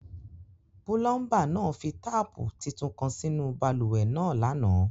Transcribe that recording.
Pulọmba naa fi taapu títún kan sínu bálúwẹ̀ naa lánà.